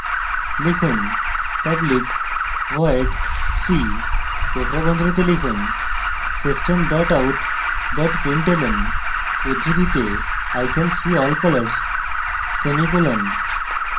লিখুন: public void see কোঁকড়া বন্ধনীতে লিখুন system out println উদ্ধৃতিতে i can see all colors semicolon